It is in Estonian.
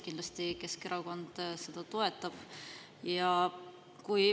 Kindlasti Keskerakond seda toetab.